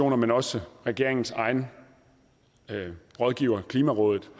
men også regeringens egen rådgiver klimarådet